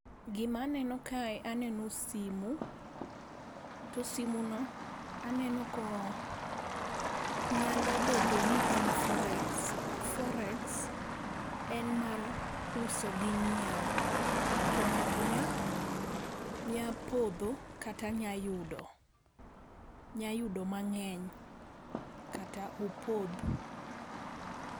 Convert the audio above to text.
Gima aneno kae aneno simu to simuno aneno ka nyalo bedo ni en forex. Forex en mar uso gi nyiewo, to ng'ato nyalo podho kata nyalo yudo mang'eny kata opodh.